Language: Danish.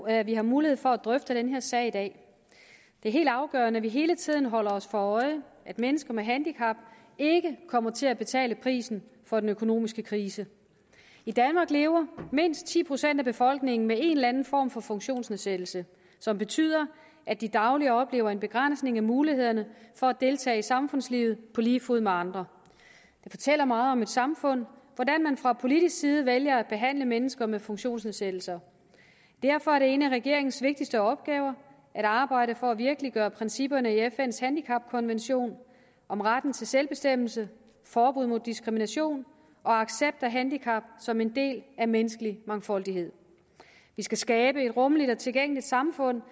at vi har mulighed for at drøfte den her sag i dag det er helt afgørende at vi hele tiden holder os for øje at mennesker med handicap ikke kommer til at betale prisen for den økonomiske krise i danmark lever mindst ti procent af befolkningen med en eller anden form for funktionsnedsættelse som betyder at de dagligt oplever en begrænsning af mulighederne for at deltage i samfundslivet på lige fod med andre det fortæller meget om et samfund hvordan man fra politisk side vælger at behandle mennesker med funktionsnedsættelser derfor er det en af regeringens vigtigste opgaver at arbejde for at virkeliggøre principperne i fns handicapkonvention om retten til selvbestemmelse forbud mod diskrimination og accept af handicap som en del af menneskelig mangfoldighed vi skal skabe et rummeligt og tilgængeligt samfund